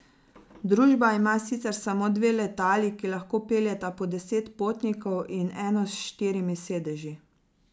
Družba ima sicer samo dve letali, ki lahko peljeta po deset potnikov, in eno s štirimi sedeži.